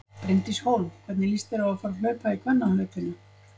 Bryndís Hólm: Hvernig líst þér á að fara að hlaupa í kvennahlaupinu?